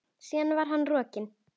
Síðan var hann rokinn.